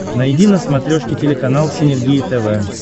найди на смотрешке телеканал синергия тв